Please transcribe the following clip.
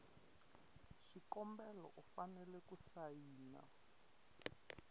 xikombelo u fanele ku sayina